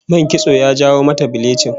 Man kitso ya jawo mata bilichin